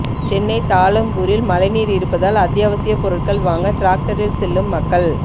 சென்னை தாழம்பூரில் மழை நீர் இருப்பதால் அத்யாவசிய பொருட்கள் வாங்க டிராக்டரில் செல்லும் மக்கள்